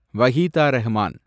Waheeda Rehman